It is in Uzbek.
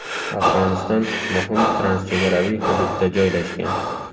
Afg‘oniston muhim transchegaraviy hududda joylashgan.